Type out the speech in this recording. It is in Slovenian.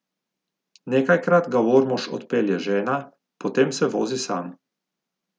Nekajkrat ga v Ormož pelje žena, potem se vozi sam.